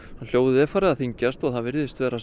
hljóðið er farið að þyngjast og það virðist vera